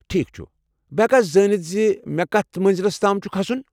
ٹھیكھ چُھ، بہٕ ہیٚكا زٲنِتھ زِ مےٚ كَتھ منزِلس تام چُھ كھسُن ؟